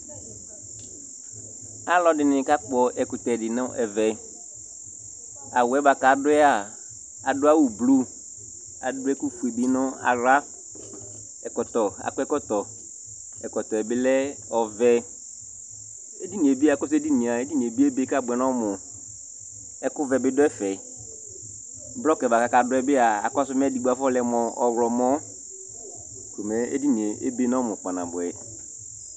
Alʋɛdɩnɩ kakpɔ ɛkʋtɛ dɩ nʋ ɛvɛ Awʋ yɛ bʋa kʋ adʋ yɛ a, adʋ awʋblu, adʋ ɛkʋfue bɩ nʋ aɣla Ɛkɔtɔ, akɔ ɛkɔtɔ, ɛkɔtɔ yɛ bɩ lɛ ɔvɛ Edini yɛ bɩ, akɔsʋ edini yɛ a, mɛ edini yɛ bɩ ebe kʋ abʋɛ nʋ ɔmʋ Ɛkʋvɛ bɩ dʋ ɛfɛ Blɔkɩ yɛ bʋa kʋ akadʋ yɛ bɩ a, akɔsʋ mɛ edigbo afɔlɛ mʋ ɔɣlɔmɔ ko mɛ edini yɛ ebe nʋ ɔmʋ kpanabʋɛ